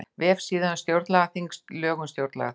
Vefsíða um stjórnlagaþing Lög um stjórnlagaþing